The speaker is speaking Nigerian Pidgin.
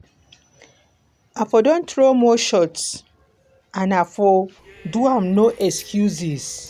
i for don throw more shots and i for do am no excuses.